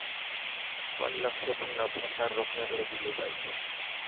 पण लक्ष्य पुन्हा प्रसार रोखण्याकडे दिले पाहिजे.